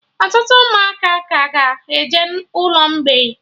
Ọtụtụ Ụmụaka ka ga-eje ụlọ mgbei